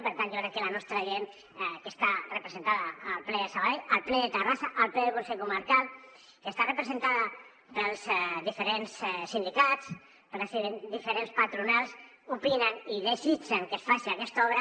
per tant jo crec que la nostra gent que està representada al ple de sabadell al ple de terrassa al ple del consell comarcal que està representada pels diferents sindicats per diferents patronals opinen i desitgen que es faci aquesta obra